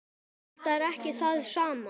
Þetta er ekki það sama.